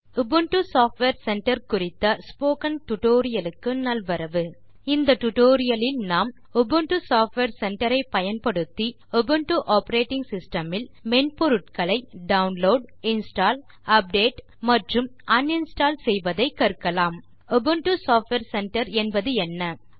Ubuntu software center குறித்த spoken tutorial க்கு நல்வரவு இந்த டியூட்டோரியல் லில் நாம் உபுண்டு சாஃப்ட்வேர் சென்டர் ஐ பயன்படுத்தி உபுண்டு ஆப்பரேட்டிங் சிஸ்டம் இல் மென்பொருட்களை டவுன்லோட் இன்ஸ்டால் அப்டேட் மற்றும் அன்இன்ஸ்டால் செய்வதை கற்கலாம் உபுண்டு சாஃப்ட்வேர் சென்டர் என்பதென்ன